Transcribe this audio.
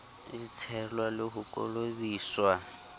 e tshelwa le ho kolobiswa